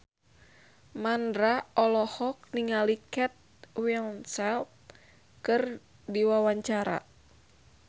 Mandra olohok ningali Kate Winslet keur diwawancara